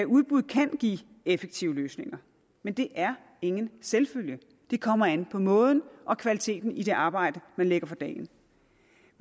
udbuddet kan give effektive løsninger men det er ingen selvfølge det kommer an på måden og kvaliteten i det arbejde man lægger for dagen